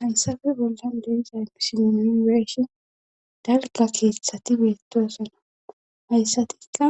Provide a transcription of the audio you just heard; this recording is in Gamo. Haysafe bolla deeza ypisieshi dalga keeththati beettosana hayssatikka